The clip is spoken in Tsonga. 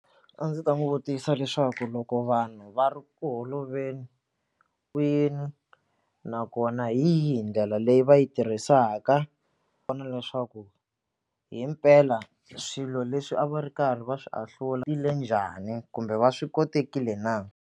A ndzi ta n'wi vutisa leswaku loko vanhu va ri ku holoveli kwini nakona hi yihi ndlela leyi va yi tirhisaka leswaku himpela swilo leswi a va ri karhi va swi ahlula njhani kumbe va swi kotekile na.